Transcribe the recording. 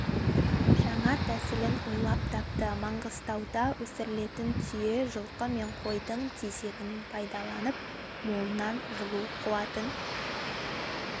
жаңа тәсілін ойлап тапты маңғыстауда өсірілетін түйе жылқы мен қойдың тезегін пайдаланып молынан жылу қуатын